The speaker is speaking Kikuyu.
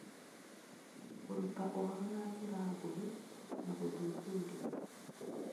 Kũruta ũhoro na njĩra nguhĩ na gũthuthuria.